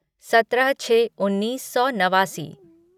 सत्रह छः उन्नीस सौ नवासी